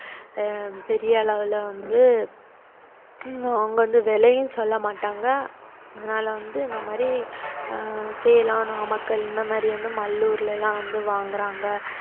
ஹம் பெரிய அளவில வந்து ஹம் அவங்க வந்து விலையும் சொல்ல மாட்டாங்க அதனால வந்து இந்த மாதிரி ஆஹ் சேலம், நாமக்கல் இந்த மாதிரி வந்து மல்லூர்ல எல்லாம் வந்து வாங்கறாங்க